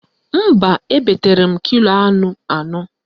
Mba, ebetere m kilo anụ anọ